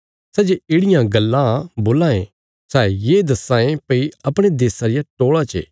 सै जे येढ़ियां गल्लां बोलां ये सै ये दस्सां ये भई अपणे देशा रिया टोल़ा चे